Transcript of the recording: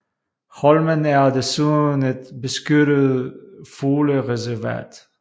Holmen er desuden et beskyttet fuglereservat